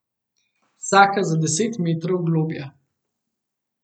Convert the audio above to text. Vsaka za deset metrov globlja.